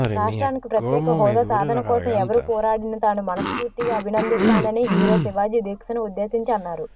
రాష్ట్రానికి ప్రత్యేక హోదా సాధన కోసం ఎవరూ పోరాడినా తాను మనస్ఫూర్తిగా అభినందిస్తానని హీరో శివాజీ దీక్షను ఉద్దేశించి అన్నారు